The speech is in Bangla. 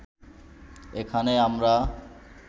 এখানে আমরা